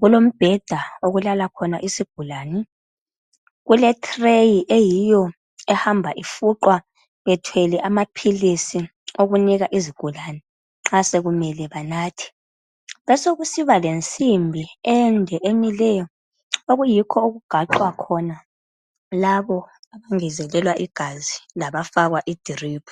Kulombheda okulala khona isigulane, kule threyi eyiyo ehamba ifuqwa bethwele amaphilisi ukunika izigulane nxa sekumele banathe. Kubesekusiba lensimbi ende emileyo, okuyikho okugaxwa khona labo abangezelelwa igazi labafakwa i drip.